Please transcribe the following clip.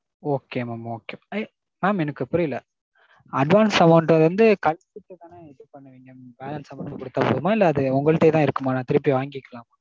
Okay mam okay. mam எனக்கு புரியல. advance amount வந்து கழுச்சிட்டு தானே இது பன்னுவிங்க balance amount குடுத்தா போதுமா? இல்ல அது உங்கள்டயே தான் இருக்குமா? நான் திருப்பி வாங்கிக்கலாமா?